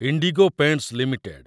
IndiGo Paints limited